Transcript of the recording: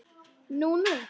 Nú nú.